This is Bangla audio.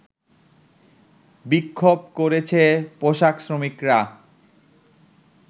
বিক্ষোভ করেছে পোশাক শ্রমিকরা